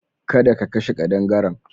Kada ka kashe ƙadangaren.